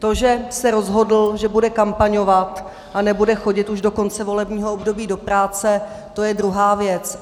To, že se rozhodl, že bude kampaňovat a nebude chodit už do konce volebního období do práce, to je druhá věc.